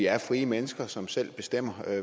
er frie mennesker som selv bestemmer